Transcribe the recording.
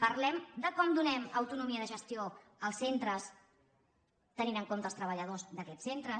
parlem de com donem autonomia de gestió als centres tenint en compte els treballadors d’aquests centres